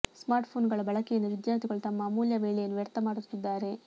smartphone ಗಳ ಬಳಕೆಯಿಂದ ವಿದ್ಯಾರ್ಥಿಗಳು ತಮ್ಮ ಅಮೂಲ್ಯ ವೇಳೆಯನ್ನು ವ್ಯರ್ಥ ಮಾಡುತ್ತಿದ್ದಾರೆ